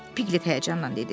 Pilet həyəcanla dedi.